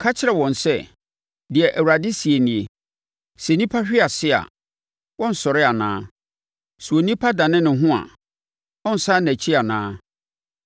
“Ka kyerɛ wɔn sɛ, ‘Deɛ Awurade seɛ nie: “ ‘Sɛ nnipa hwe ase a, wɔnsɔre anaa? Sɛ onipa dane ne ho a, ɔnsane nʼakyi anaa?